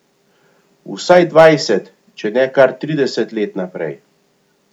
Vsaj dvajset, če ne kar trideset let naprej.